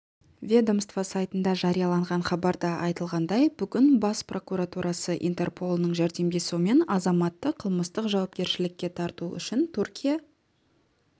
ведомство сайтында жарияланған хабарда айтылғандай бүгін бас прокуратурасы интерполының жәрдемдесуімен азаматты қылмыстық жауапкершілікке тарту үшін түркия